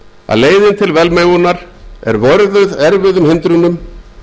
að leiðin til velmegunar er vörðuð erfiðum hindrunum